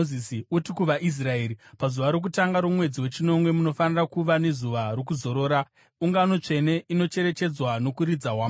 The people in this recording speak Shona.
“Uti kuvaIsraeri, ‘Pazuva rokutanga romwedzi wechinomwe munofanira kuva nezuva rokuzorora, ungano tsvene inocherechedzwa nokuridza hwamanda.